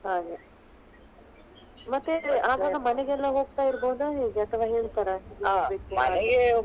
ಹಾಗೆ. ಮತ್ತೆ ಏನು ಆಗಾಗಾ ಮನೆಗೆಲ್ಲ ಹೋಗ್ತಾ ಇರ್ಬೋದಾ ಹೇಗೆ ಅಥವಾ ಹೇಳ್ತಾರ .